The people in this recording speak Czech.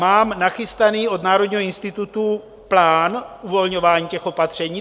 Mám nachystané od Národního institutu plán uvolňování těch opatření.